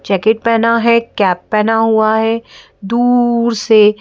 jacket पहना है cap पहना हुआ है दूउउउर से --